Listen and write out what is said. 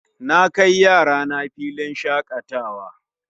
Na kai yarana filin shakatawa